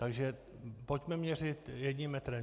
Takže pojďme měřit jedním metrem.